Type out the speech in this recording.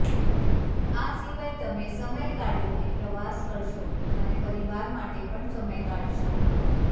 આ સિવાય તમે સમય કાઢીને પ્રવાસ કરશો અને પરિવાર માટે પણ સમય કાઢશો